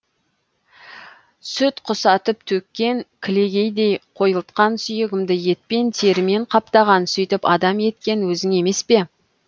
сүт құсатып төккен кілегейдей қойылтқан сүйегімді етпен терімен қаптаған сөйтіп адам еткен өзің емес пе